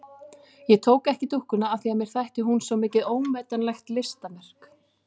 Ég tók ekki dúkkuna af því að mér þætti hún svo mikið ómetanlegt listaverk.